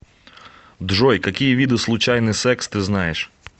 джой какие виды случайный секс ты знаешь